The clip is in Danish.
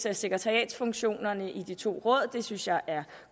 af sekretariatsfunktionerne i de to råd og det synes jeg er